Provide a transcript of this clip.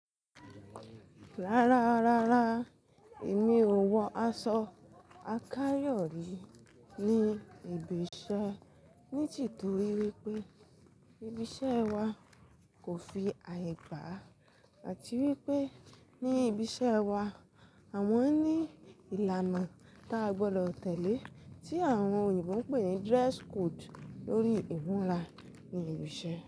Rárá, rárá, èmi ò wọ aṣọ àkáyò rí ní ibi iṣẹ́ ní tìtorí wípé ibi iṣẹ́ wa kò fi àyè gbà àti wípé ní ibi iṣẹ́ wa àwọn ní ìlànà tá a gbọ́dọ̀ tẹ̀lé tí àwọn òyìnbó ń pè ní dress code lórí ìmúra ní ibi iṣẹ́